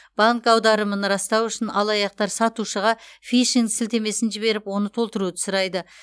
банк аударымын растау үшін алаяқтар сатушыға фишинг сілтемесін жіберіп оны толтыруды сұрайды